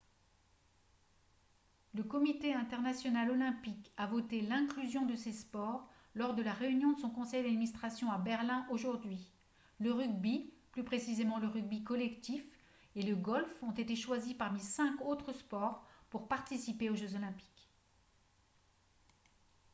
le comité international olympique a voté l'inclusion de ces sports lors de la réunion de son conseil d'administration à berlin aujourd'hui le rugby plus précisément le rugby collectif et le golf ont été choisis parmi cinq autres sports pour participer aux jeux olympiques